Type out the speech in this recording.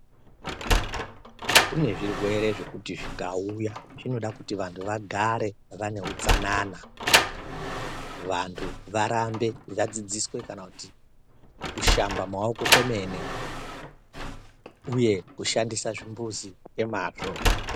Kune zvirwere zvekuti zvikauya zvinoda kuti vantu vagare vane hutsanana vantu varambe vadzidziswe kana kushamba pamaoko kwemene uye kushandisa zvimbuzi ngemazvo.